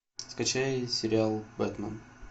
скачай сериал бэтмен